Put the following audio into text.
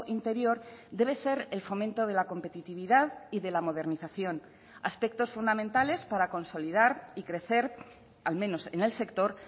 interior debe ser el fomento de la competitividad y de la modernización aspectos fundamentales para consolidar y crecer al menos en el sector